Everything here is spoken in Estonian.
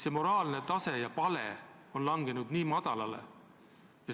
See moraalne tase on langenud väga madalale.